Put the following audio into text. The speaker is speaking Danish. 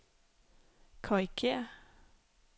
korrigér